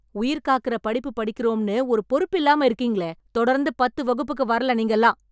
உயிர் காக்கிற படிப்பு படிக்கிறோம்னு ஒரு பொறுப்பு இல்லாம இருக்கீங்களே, தொடர்ந்து பத்து வகுப்புக்கு வரல நீங்கல்லாம்.